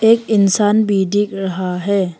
एक इंसान भी दिख रहा है।